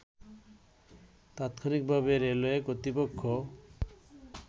তাৎক্ষনিকভাবে railway কর্তৃপক্ষ